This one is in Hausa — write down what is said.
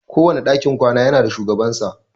Kowane dakin kwana ya na da shugabansa.